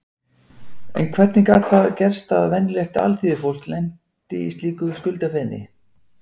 En hvernig gat það gerst að venjulegt alþýðufólk lenti í þvílíku skuldafeni?